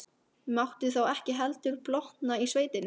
Mátti þá ekki heldur blotna í sveitinni!